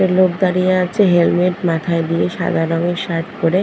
একটা লোক দাঁড়িয়ে আছে হেলমেট মাথায় দিয়ে সাদা রঙের শার্ট পরে।